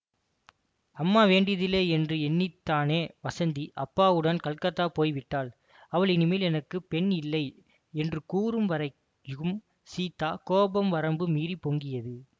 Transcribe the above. அம்மா வேண்டியதில்லையென்று எண்ணித்தானே வஸந்தி அப்பாவுடன் கல்கத்தா போய்விட்டாள் அவள் இனிமேல் எனக்கு பெண் இல்லை என்று கூறும் வரைக்கும் சீதாவின் கோபம் வரம்பு மீறிப் பொங்கியது